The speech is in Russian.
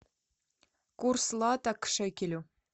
курс лата к шекелю